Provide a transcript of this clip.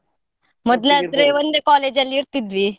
ಮೊದ್ಲು ಆದ್ರೆ ಒಂದೇ college ಅಲ್ಲಿ ಇರ್ತಿದ್ವಿ.